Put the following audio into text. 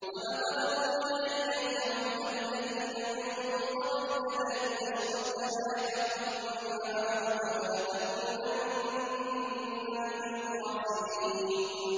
وَلَقَدْ أُوحِيَ إِلَيْكَ وَإِلَى الَّذِينَ مِن قَبْلِكَ لَئِنْ أَشْرَكْتَ لَيَحْبَطَنَّ عَمَلُكَ وَلَتَكُونَنَّ مِنَ الْخَاسِرِينَ